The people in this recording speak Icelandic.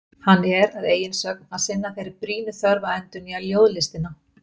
Hann er, að eigin sögn, að sinna þeirri brýnu þörf að endurnýja ljóðlistina.